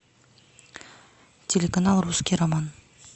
телеканал русский роман